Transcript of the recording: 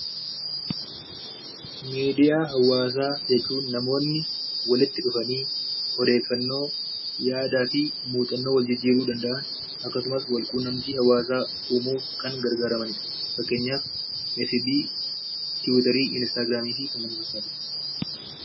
Miidiyaa hawaasaa jechuun namoonni walitti dhufanii odeeffannoo, yaadaa fi muuxannoo waljijjiiruu danda'an akkasumas walquunnamtii hawaasaa uumuuf kan gargaaramanii dha. Fakkeenyaaf, effibii, tiwiiterii, inistaagiraamii fi kan kana fakkaatanii dha.